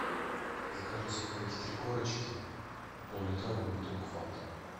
закажи сухарики три корочки и поллитровую бутылку фанты